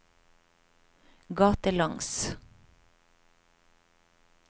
gatelangs